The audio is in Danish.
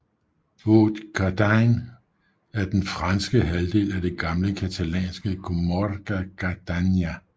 Haute Cerdagne er den franske halvdel af det gamle catalanske comarca Cerdanya